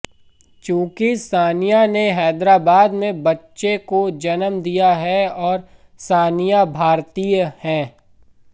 चूंकि सानिया ने हैदराबाद में बच्चे को जन्म दिया है और सानिया भारतीय है